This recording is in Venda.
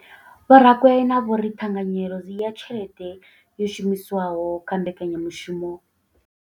Vho Rakwena vho ri ṱhanganyelo ya tshelede yo shumiswaho kha mbekanya mushumo.